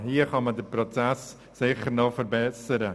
Hier kann man den Prozess sicher noch verbessern.